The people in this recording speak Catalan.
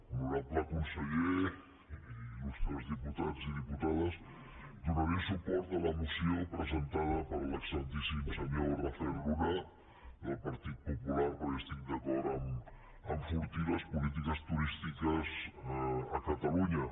honorable conseller il·lustres diputats i diputades donaré suport a la moció presentada per l’excel·lentíssim senyor rafael luna del partit popular perquè estic d’acord a enfortir les polítiques turístiques a catalunya